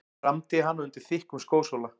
Kramdi hana undir þykkum skósóla.